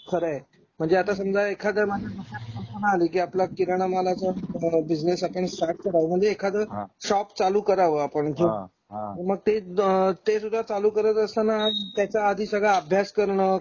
खरंय. म्हणजे आता समझ आता एखाद कस्टमर आले कि आपला किराणा मालाचा बिजनेस आपण स्टार्ट करावं. म्हणजे एखाद हा शॉप चालू करावं आपण हा मग त सुद्धा चालू करत असताना त्याचा आधी सगळं अभ्यास करण.